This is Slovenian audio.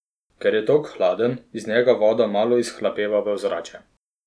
Ker je tok hladen, iz njega voda malo izhlapeva v ozračje.